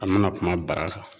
An ma na kuma bara kan